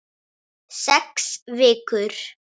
Sex vikur.